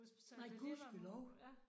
Nej gudskelov